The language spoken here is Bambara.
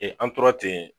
an tora ten